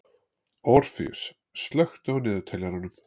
Orfeus, slökktu á niðurteljaranum.